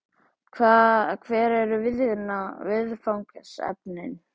Hver eru viðfangsefnin?